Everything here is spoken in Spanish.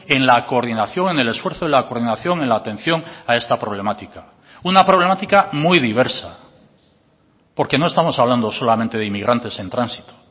en la coordinación en el esfuerzo de la coordinación en la atención a esta problemática una problemática muy diversa porque no estamos hablando solamente de inmigrantes en tránsito